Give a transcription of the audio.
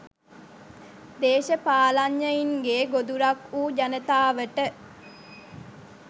දේශපාලනඥයින්ගේ ගොදුරක් වු ජනතාවට